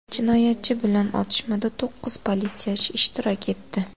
Jinoyatchi bilan otishmada to‘qqiz politsiyachi ishtirok etdi.